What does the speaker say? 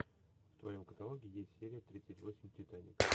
в твоем каталоге есть серия тридцать восемь титаник